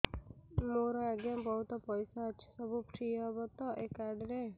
ମୋର ଆଜ୍ଞା ବହୁତ ପଇସା ଅଛି ସବୁ ଫ୍ରି ହବ ତ ଏ କାର୍ଡ ରେ